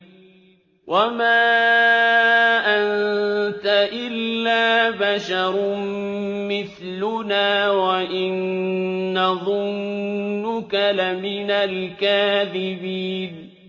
وَمَا أَنتَ إِلَّا بَشَرٌ مِّثْلُنَا وَإِن نَّظُنُّكَ لَمِنَ الْكَاذِبِينَ